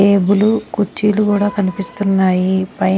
table కుచ్చీలు కూడా కనిపిస్తున్నాయి పై--